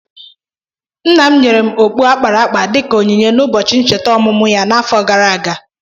Nna m nyere okpu a kpara akpa dịka onyinye n'ụbọchị ncheta ọmụmụ ya n'afọ gara aga.